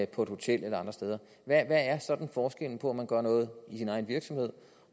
på et hotel eller andre steder hvad er forskellen på man gør noget i sin egen virksomhed